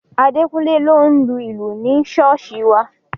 Adekunle ló ń lu ìlù ní ṣọ́ọ̀ṣì wa